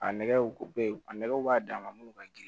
A nɛgɛw ko bɛ yen a nɛgɛw b'a dan ma minnu ka girin